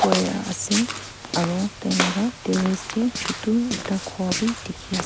Wire ase aro tailaga terrace dae chutu ekta ghor bhi dekhe ase.